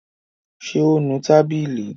Ṣé ó nu tábìlì?